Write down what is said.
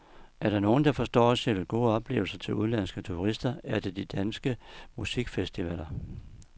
Er der nogen, der forstår at sælge gode oplevelser til udenlandske turister, er det de danske musikfestivaler.